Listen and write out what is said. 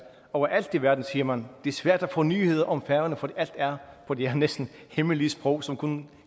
overalt i verden siger man det er svært at få nyheder om færøerne for alt er på det her næsten hemmelige sprog som kun